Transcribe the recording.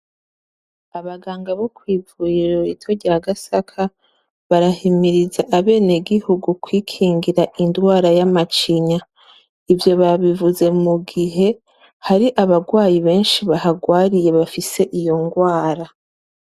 Abangaga bo kw'ivuriro rito rya Gasaka, barahimiriza abenegihugu kwikingira indwara y'amacinya. Ivyo babivuze mugihe hari abagwayi benshi bahagwariye bafise iyo ngwara,